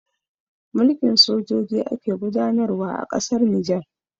Mulkin sojoji ake gudanarwa a ƙasar Nijar